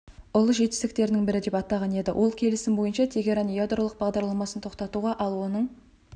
ұлы жетістіктерінің бірі деп атаған еді ол келісім бойынша тегеран ядролық бағдарламасын тоқтатуға ал оның